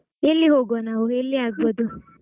ಎಲ್ಲಿ ಹೋಗುವಾ ನಾವು ಎಲ್ಲಿ ಆಗ್ಬೋದು?